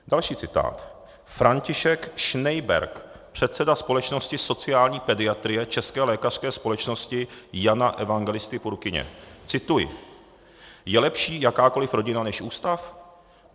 Další citát, František Schneiberg, předseda Společnosti sociální pediatrie České lékařské společnosti Jana Evangelisty Purkyně - cituji: "Je lepší jakákoli rodina než ústav?